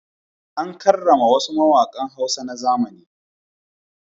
An karrama wasu mawaƙan Hausa na zamani.